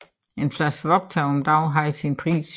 En flaske vodka om dagen havde sin pris